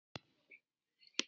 Við munum sakna Atla.